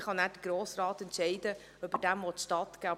Dann kann der Grosse Rat entscheiden, ob er diesem stattgeben will.